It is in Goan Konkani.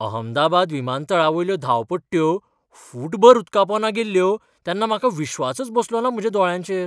अहमदाबाद विमानतळावयल्यो धांवपट्ट्यो फूटभर उदकापोंदा गेल्ल्यो तेन्ना म्हाका विश्वासच बसलोना म्हज्या दोळ्यांचेर.